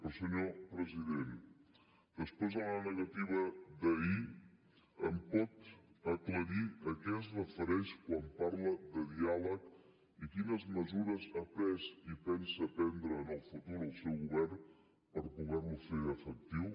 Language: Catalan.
però senyor president després de la negativa d’ahir em pot aclarir a què es refereix quan parla de diàleg i quines mesures ha pres i pensa prendre en el futur el seu govern per poderlo fer efectiu